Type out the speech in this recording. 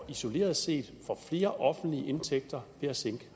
isoleret set får flere offentlige indtægter ved at sænke